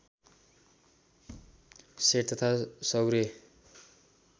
set तथा सौर्य